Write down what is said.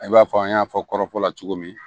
I b'a fɔ an y'a fɔ kɔrɔfɔla cogo min